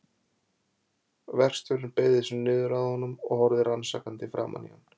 Verkstjórinn beygði sig niður að honum og horfði rannsakandi framan í hann.